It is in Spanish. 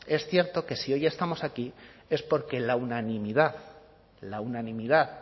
es cierto que si hoy estamos aquí es porque la unanimidad la unanimidad